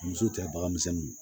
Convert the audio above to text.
Muso tɛ bagan misɛnninw